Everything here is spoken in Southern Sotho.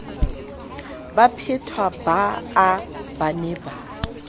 baphetwa baa ba ne ba